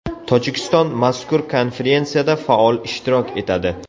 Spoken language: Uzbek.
Tojikiston mazkur konferensiyada faol ishtirok etadi.